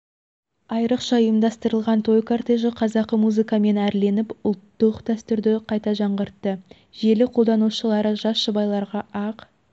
айрықша ұйымдастырылған той кортежі қазақы музыкамен әрленіп ұлттық дәстүрді қайта жаңғыртты желі қолданушылары жас жұбайларға ақ